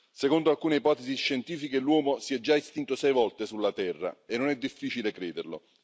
Secondo alcune ipotesi scientifiche l'uomo si è già estinto sei volte sulla terra e non è difficile crederlo.